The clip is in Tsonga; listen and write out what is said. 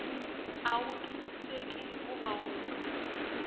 a wu twisiseki hikuva wu